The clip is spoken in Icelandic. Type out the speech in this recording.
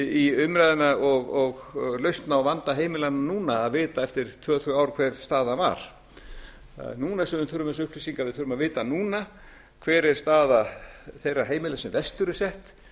í umræðuna og lausn á vanda heimilanna núna að vita eftir tvö þrjú ár hver staðan var það er núna sem við þurfum þessar upplýsingar við þurfum að vita núna hver er staða þeirra heimila sem verst eru sett